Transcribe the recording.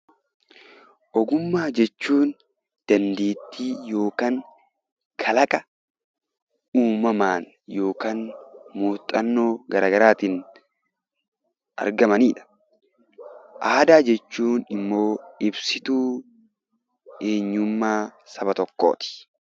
Ogummaa jechuun dandeettii yookiin kalaqa uumamaan yookiin muuxannoo garaa garaatiin argamanidha. Aadaa jechuun immoo ibsituu eenyummaa saba tokkooti.